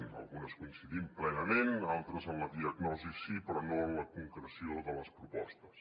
en algunes hi coincidim plenament d’altres en la diagnosi sí però no en la concreció de les propostes